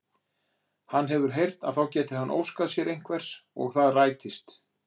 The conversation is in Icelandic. Hann hefur heyrt að þá geti hann óskað sér einhvers og það rætist!